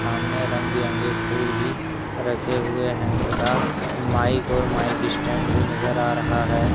हमने रंग बिरंगी फूल भी रखे हुए हैं तथा माइक और माइक स्टैंड भी नजर आ रहा है।